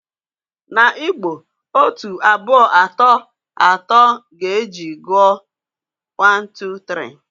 Na Igbo, otu, abụọ atọ atọ ga-eji gụọ 1, 2, 3.